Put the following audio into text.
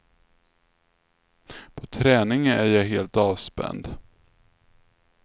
På träning är jag helt avspänd.